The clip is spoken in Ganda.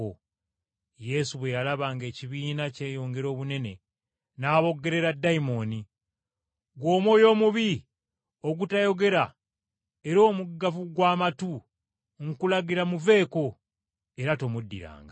Yesu bwe yalaba ng’ekibiina kyeyongera obunene, n’aboggolera dayimooni nti, “Ggwe omwoyo omubi ogutayogera era omuggavu gw’amatu nkulagira muveeko, era tomuddiranga.”